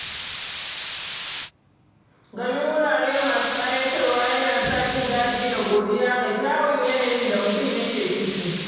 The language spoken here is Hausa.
Ganin wurare masu ƙayatarwa yana sa jin daɗi da godiya ga kyawun yanayin da mutum yake ciki.